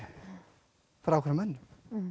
frá ákvöðnum mönnum